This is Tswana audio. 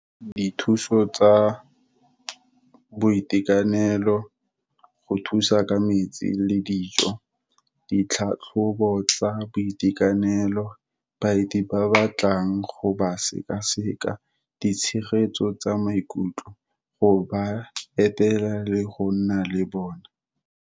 Dithuso tsa boitekanelo, go thusa ka metsi le dijo. Ditlhatlhobo tsa boitekanelo, baeti ba ba tlang go ba sekaseka. Ditshegetso tsa maikutlo, go ba etela le go nna le bona.